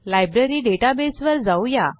library database वर जाऊ या